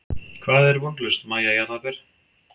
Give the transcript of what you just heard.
Hvað er vonlaust Mæja jarðaber?